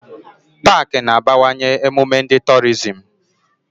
Pááki na-abawanye emume ndi torizim